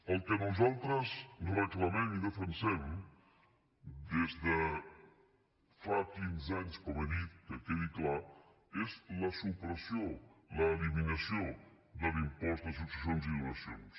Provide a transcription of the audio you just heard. el que nosaltres reclamem i defensem des de fa quinze anys com he dit que quedi clar és la supressió l’eliminació de l’impost de successions i donacions